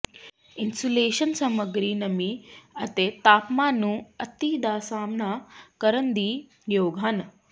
insulation ਸਮੱਗਰੀ ਨਮੀ ਅਤੇ ਤਾਪਮਾਨ ਨੂੰ ਅਤਿ ਦਾ ਸਾਮ੍ਹਣਾ ਕਰਨ ਦੇ ਯੋਗ ਹਨ